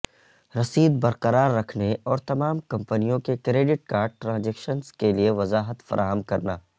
رسید برقرار رکھنے اور تمام کمپنیوں کے کریڈٹ کارڈ ٹرانزیکشنز کے لئے وضاحت فراہم کرنا